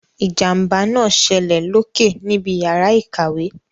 Ìjàmbá náà ṣẹlẹ̀ loke níbi yàrá ìkàwé.